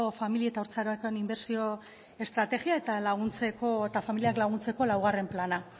famili eta haurtzarorako inbertsio estrategia eta familiak laguntzeko laugarren plana